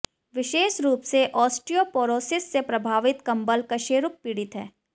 विशेष रूप से ऑस्टियोपोरोसिस से प्रभावित कंबल कशेरुक पीड़ित हैं